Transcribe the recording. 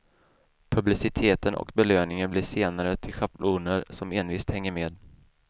Publiciteten och belöningen blir senare till schabloner som envist hänger med.